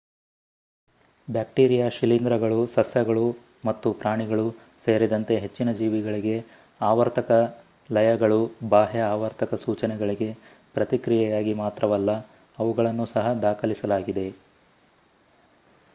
bacteria ಶಿಲೀಂಧ್ರಗಳು ಸಸ್ಯಗಳು ಮತ್ತು ಪ್ರಾಣಿಗಳು ಸೇರಿದಂತೆ ಹೆಚ್ಚಿನ ಜೀವಿಗಳಿಗೆ ಆವರ್ತಕ ಲಯಗಳು ಬಾಹ್ಯ ಆವರ್ತಕ ಸೂಚನೆಗಳಿಗೆ ಪ್ರತಿಕ್ರಿಯೆಯಾಗಿ ಮಾತ್ರವಲ್ಲ ಅವುಗಳನ್ನು ಸಹ ದಾಖಲಿಸಲಾಗಿದೆ